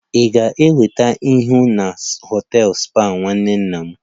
Ị ga-enweta ihu na họtel spa nwanne nna m